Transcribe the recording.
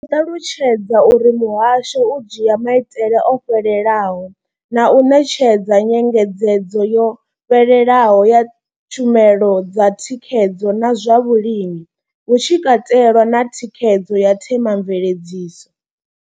Vho ṱalutshedza uri muhasho u dzhia maitele o fhelelaho na u ṋetshedza nyengedzedzo yo fhelelaho ya tshumelo dza thikhedzo na zwa vhulimi, hu tshi katelwa na thikhedzo ya themamveledziso.